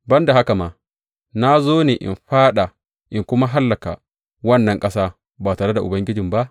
Ban da haka kuma, na zo ne in faɗa in kuma hallaka wannan ƙasa ba tare da Ubangiji ba?